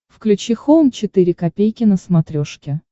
включи хоум четыре ка на смотрешке